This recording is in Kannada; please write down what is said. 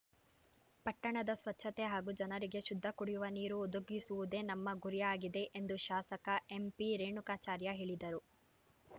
ಪಟ್ಟಣದ ಸ್ವಚ್ಛತೆ ಹಾಗೂ ಜನರಿಗೆ ಶುದ್ಧ ಕುಡಿಯುವ ನೀರು ಒದಗಿಸುವುದೇ ನಮ್ಮ ಗುರಿಯಾಗಿದೆ ಎಂದು ಶಾಸಕ ಎಂಪಿರೇಣುಕಾಚಾರ್ಯ ಹೇಳಿದರು